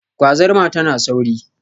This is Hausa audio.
Gwazarma tana sauri.